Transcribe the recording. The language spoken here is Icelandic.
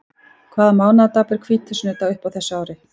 Hvaða mánaðardag ber hvítasunnudag upp á þessu ári?